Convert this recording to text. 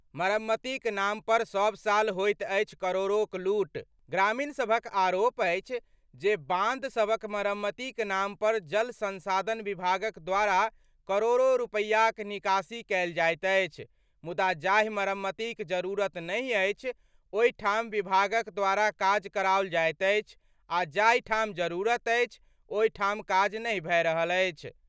मरम्मतक नाम नाम पर सब साल होइत अछि करोड़ोक लूट : ग्रामीण सभक आरोप अछि जे बांध सभक मरम्मतीक नाम पर जल संसाधन विभागक द्वारा करोड़ो रुपैयाक निकासी कएल जाइत अछि, मुदा जाहि मरम्मतीक जरूरत नहि अछि, ओहि ठाम विभागक द्वारा काज कराओल जाइत अछि, आ जाहि ठाम जरूरत अछि, ओहि ठाम काज नहि भए रहल अछि।